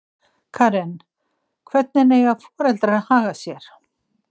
Karen: Hvernig eiga foreldrar að haga sér?